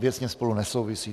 Věcně spolu nesouvisí.